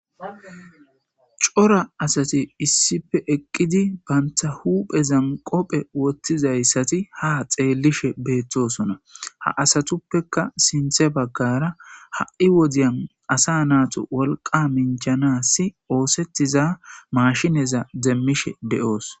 Cora asati issippe eqqidi banta huphphezan kobbe woththizaysati ha xellishe betoosona ha asatuppekka siththa bagara ha'I wodezan asa natu wolqqa minjanas ossetiza mashshineza demishshe de'oss.